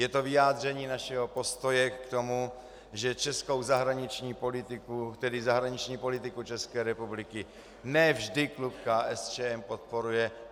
Je to vyjádření našeho postoje k tomu, že českou zahraniční politiku, tedy zahraniční politiku České republiky, ne vždy klub KSČM podporuje.